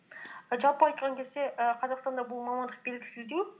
жалпы айтқан кезде і қазақстанда бұл мамандық белгісіздеу